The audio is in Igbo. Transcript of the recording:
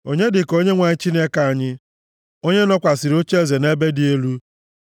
Onye dị ka Onyenwe anyị Chineke anyị, onye nọkwasịrị ocheeze nʼebe dị elu,